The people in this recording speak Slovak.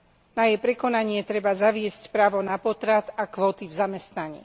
Na jej prekonanie treba zaviesť právo na potrat a kvóty v zamestnaní.